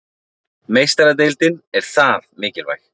Meistaradeildin er það mikilvæg